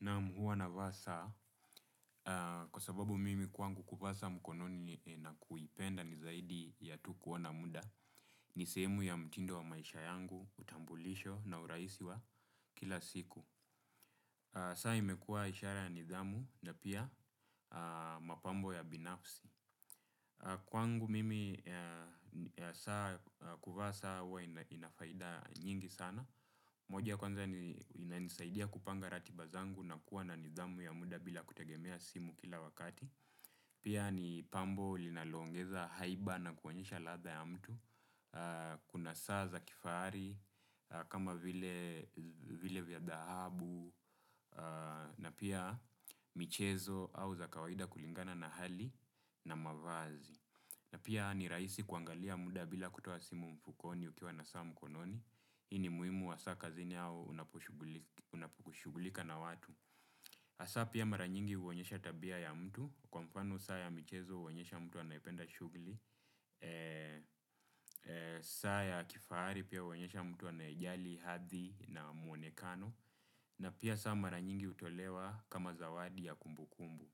Naam, huwa navaa saa kwa sababu mimi kwangu kuvaa saa mkononi na kuipenda ni zaidi ya kuwa na muda ni sehemu ya mtindo wa maisha yangu, utambulisho na urahisi wa kila siku saa imekua ishara ya nidhamu na pia mapambo ya binafsi. Kwangu mimi kuvaa saa huwa inafaida nyingi sana moja kwanza inanisaidia kupanga ratiba zangu na kuwa na nidhamu ya muda bila kutegemea simu kila wakati pia ni pambo linaloongeza haiba na kuonyesha ladha ya mtu. Kuna saa za kifahari, kama vile vya dhahabu na pia michezo au za kawaida kulingana na hali na mavazi na pia ni rahisi kuangalia muda bila kutoa simu mfukoni ukiwa na saa mkononi hii ni muhimu wa saa kazini au unaposhughulika na watu hasa pia mara nyingi huonyesha tabia ya mtu. Kwa mfano, saa ya michezo huonyesha mtu anayependa shughuli saa ya kifahari pia huonyesha mtu anayejali hadhi na muonekano na pia saa mara nyingi hutolewa kama zawadi ya kumbukumbu